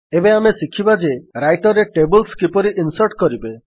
ଏବେ ଆମେ ଶିଖିବା ଯେ ରାଇଟର୍ ରେ ଟେବଲ୍ସ କିପରି ଇନ୍ସର୍ଟ କରିବେ